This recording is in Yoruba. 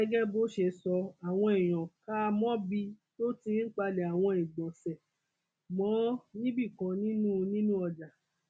gẹgẹ bó ṣe sọ àwọn èèyàn kà á mọbi tó ti ń palẹ àwọn ìgbọnsẹ mọ níbìkan nínú nínú ọjà